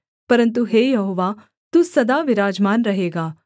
परन्तु हे यहोवा तू सदा विराजमान रहेगा